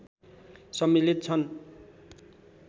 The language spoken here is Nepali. सम्मिलित छन्